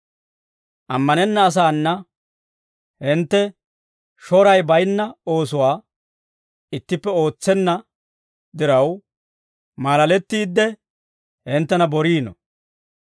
Ammanenna asaana hintte shoray bayinna oosuwaa ittippe ootsenna diraw maalalettiide, hinttena boriino.